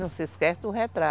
Não se esquece do re